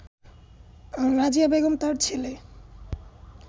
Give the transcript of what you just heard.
রাজিয়া বেগম তার ছেলে